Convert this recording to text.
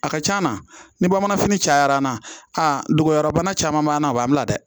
A ka c'a na ni bamananfini cayara an na a dogoyɔrɔ bana caman b'an na a b'an bila dɛ